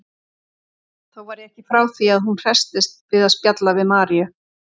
Þó var ég ekki frá því að hún hresstist við að spjalla við Maríu.